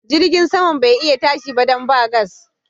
Jirgin saman bai iya tashi ba dan ba gas.